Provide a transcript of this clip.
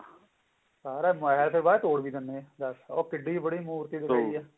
ਸਾਰਾ ਮਹਿਲ ਦੇ ਬਾਹਰ ਤੋੜ ਵੀ ਦਿੰਨੇ ਆ ਉਹ ਕਿੱਡੀ ਕ ਬੜੀ ਮੂਰਤੀ ਬਣਾਈ ਹੈ